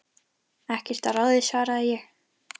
Ekkert að ráði svaraði ég.